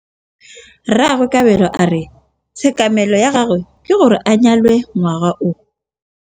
Rragwe Kabelo a re tshekamêlô ya gagwe ke gore a nyale ngwaga o.